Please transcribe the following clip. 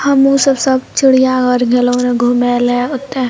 हमु सब सब चिड़िया घर गेलो घूमे ले वोते।